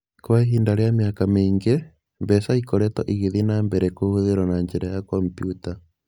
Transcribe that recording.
Kwa ihinda rĩa mĩaka mĩingĩ, mbeca ikoretwo igĩthiĩ na mbere kũhũthĩrũo na njĩra ya kompiuta.